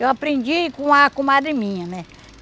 Eu aprendi com a comadre minha, né?